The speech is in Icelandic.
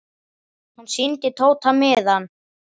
Hann sýndi Tóta miðann.